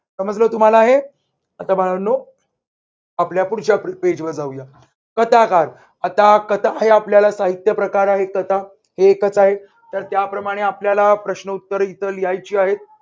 समजलं तुम्हाला हे आता बाळांनो आपल्या पुढच्या पेजवर जाऊया. कथाकार आता कथा आहे आपल्याला साहित्य प्रकार आहे कथा. ही एकच आहे, तर त्याप्रमाणे आपल्याला प्रश्न उत्तर इथं लिहायची आहेत.